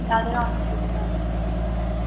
তাদের অনেক সুবিধা হচ্ছিল